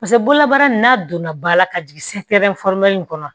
Paseke bololabaara in n'a donna ba la ka jigin kɔnɔ